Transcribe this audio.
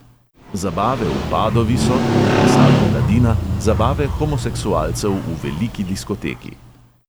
Zabave v padovi so, kot je pisala mladina, zabave homoseksualcev v veliki diskoteki.